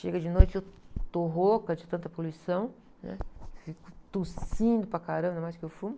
Chega de noite, eu estou rouca de tanta poluição, né? Fico tossindo para caramba, mais que eu fumo.